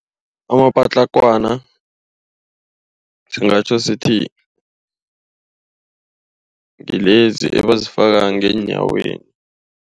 Amapatlagwana singatjho sithi ngilezi ebazifaka ngeenyaweni.